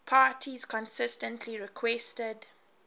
parties consistently requested